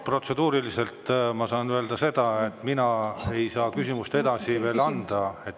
Protseduuriliselt ma saan öelda seda, et mina ei saa küsimust edasi anda.